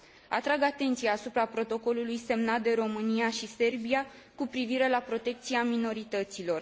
Atrag atenția asupra Protocolului semnat de România și Serbia cu privire la protecția minorităților.